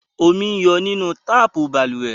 Omi ń yọ nínú tapu balùwẹ́